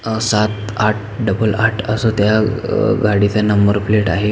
अ सात आठ डबल आठ असा त्या अ ग गाडीचा नंबर प्लेट आहे.